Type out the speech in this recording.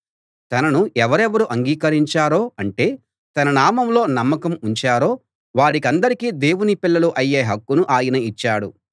తనను ఎవరెవరు అంగీకరించారో అంటే తన నామంలో నమ్మకం ఉంచారో వారికందరికీ దేవుని పిల్లలు అయ్యే హక్కును ఆయన ఇచ్చాడు